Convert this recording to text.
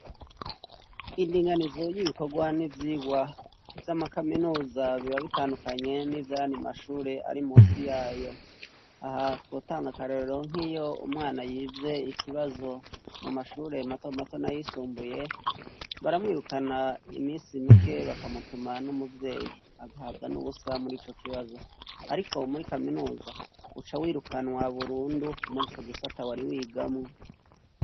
Indinganizo y'ibikorwa n'ivyigwa vy'amakaminuza biba bitandukanye n'ivyayandi mashure ari munsi yayo. Aha twotanga akarorero nk'iyo umwana yivye ikibazo mu mashure mato mato n'ayisumbuye, baramwirukana imisi mike bakamutuma n'umuvyeyi agahabwa n'ubusa muri ico kibazo. Ariko muri kaminuza uca wirukanwa burundu muri ico gisata wari wigamwo.